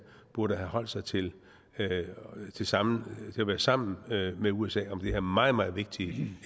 burde have holdt sig til at være sammen sammen med usa om det her meget meget vigtige